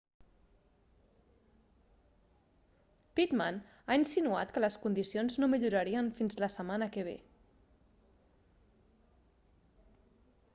pittman ha insinuat que les condicions no millorarien fins la setmana que ve